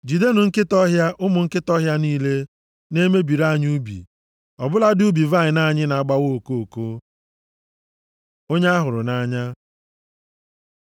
Jidenụ nkịta ọhịa, ụmụ nkịta ọhịa niile na-emebiri anyị ubi, ọ bụladị ubi vaịnị anyị na-agbawa okoko. Onye a hụrụ nʼanya